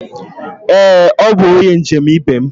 Ee, ọ bụ onye njem ibe m.